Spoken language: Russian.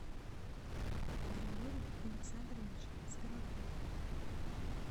григорий александрович скороход